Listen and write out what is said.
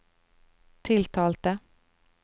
tiltalte